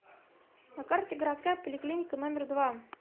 на карте городская поликлиника номер два